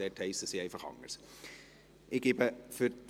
Dort heissen sie einfach anders.